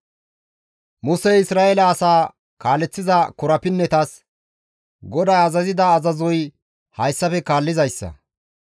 Musey Isra7eele asaa kaaleththiza korapinnetas, «GODAY azazida azazoy hayssafe kaallizayssa,